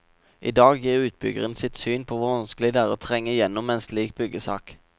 I dag gir utbyggeren sitt syn på hvor vanskelig det er å trenge gjennom med en slik byggesak.